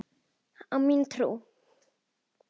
Á mína trú.